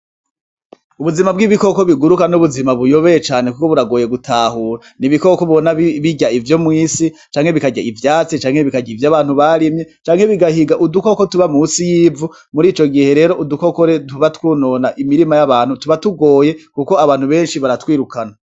Ubuzima bw'ibikoko biguruka n'ubuzima buyobeye cane kuko buragoye gutahura n'ibikoko ubona birya ivyo mwisi canke bikarya ivyatsi canke bikarya ivyo abantu barimye canke bigahiga udu koko tuba munsi yivu mu rico gihe rero udukoko tuba twonona imirima y'abantu tuba tugoye kuko abantu beshi baratwirukana.